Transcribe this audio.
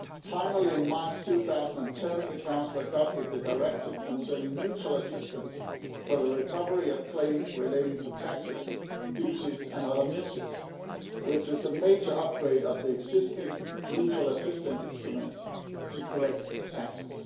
Finally, in March 2010 the Council adopted the Directive concerning mutual assistance for the recovery of claims relating to taxes, duties and other measures, which is a major upgrade of the existing mutual assistance instruments to collect taxes.